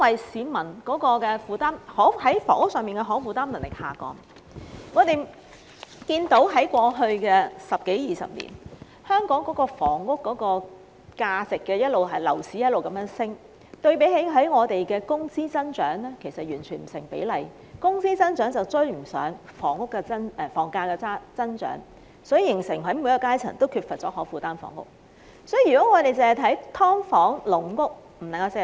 市民負擔房屋的能力下降，是由於過去十多二十年間，香港的房價和樓市不斷上升，相對於我們的工資增長而言，根本不成比例，工資增長追不上房價增長，於是便形成每個階層也缺乏可負擔房屋。